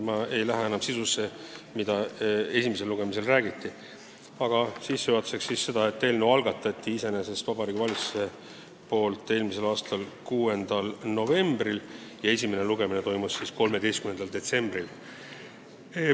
Ma ei puuduta enam sisu, millest esimesel lugemisel räägiti, aga märgin sissejuhatuseks, et eelnõu algatas Vabariigi Valitsus eelmise aasta 6. novembril ja esimene lugemine toimus 13. detsembril.